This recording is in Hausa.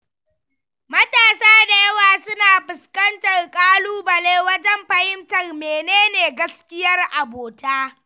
Matasa da yawa suna fuskantar ƙalubale wajen fahimtar menene gaskiyar abota.